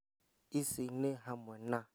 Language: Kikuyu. Ici nĩ hamwe na